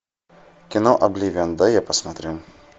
кино обливион дай я посмотрю